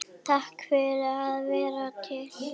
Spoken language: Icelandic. Takk fyrir að vera til.